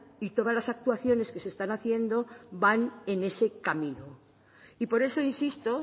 y todas las actuaciones que se están haciendo van ese camino y por eso insisto